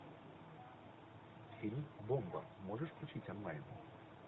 фильм бомба можешь включить онлайн